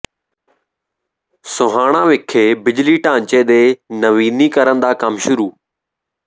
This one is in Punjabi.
ਸੋਹਾਣਾ ਵਿਖੇ ਬਿਜਲੀ ਢਾਂਚੇ ਦੇ ਨਵੀਨੀਕਰਨ ਦਾ ਕੰਮ ਸ਼ੁਰੂ